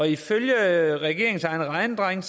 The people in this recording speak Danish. ifølge regeringens egne regnedrenge